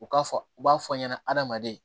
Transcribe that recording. U ka fɔ u b'a fɔ ɲɛna adamaden